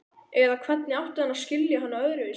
Eða hvernig átti hann að skilja hana öðruvísi?